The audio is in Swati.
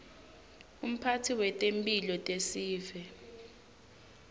umphatsi wetemphilo tesive